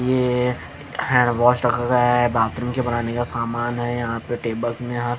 ये hand wash रखा गया है बाथरूम के बनाने का समान है यहां पे टेबल यहां--